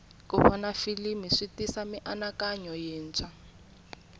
ku vona filimi switisa mianakanyo yintshwa